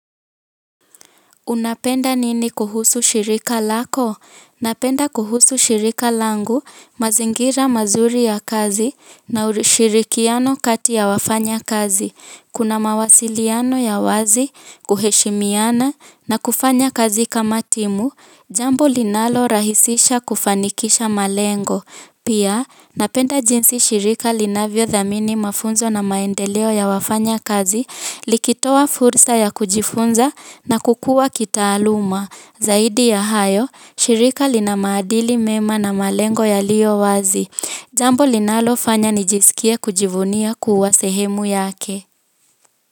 Unapenda nini kuhusu shirika lako? Napenda kuhusu shirika langu, mazingira mazuri ya kazi, na ushirikiano kati ya wafanya kazi. Kunamawasiliano ya wazi, kuheshimiana, na kufanya kazi kama timu, jambo linalo rahisisha kufanikisha malengo. Pia, napenda jinsi shirika linavyo dhamini mafunzo na maendeleo ya wafanya kazi likitowa fursa ya kujifunza na kukua kitaaluma. Zaidi ya hayo, shirika linamaadili mema na malengo yaliyowazi. Jambo linalofanya nijisikie kujivunia kuwa sehemu yake.